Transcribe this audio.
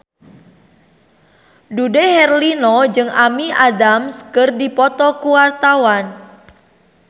Dude Herlino jeung Amy Adams keur dipoto ku wartawan